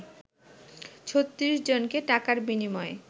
৩৬ জনকে টাকার বিনিময়ে